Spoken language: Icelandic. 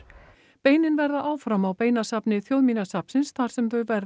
beinin verða áfram á Þjóðminjasafnsins þar sem þau verða